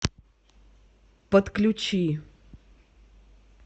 подключи